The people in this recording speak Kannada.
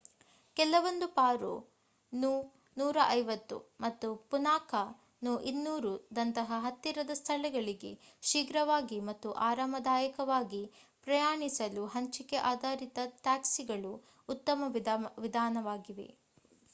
ಕೆಲವೊಂದು ಪಾರೋ nu 150ಮತ್ತು ಪುನಾಖಾ nu 200ದಂತಹ ಹತ್ತಿರದ ಸ್ಥಳಗಳಿಗೆ ಶೀಘ್ರವಾಗಿ ಮತ್ತು ಆರಾಮದಾಯಕವಾಗಿ ಪ್ರಯಾಣಿಸಲು ಹಂಚಿಕೆ ಆಧಾರಿತ ಟ್ಯಾಕ್ಸಿಗಳು ಉತ್ತಮ ವಿಧಾನವಾಗಿವೆ